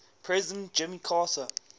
president jimmy carter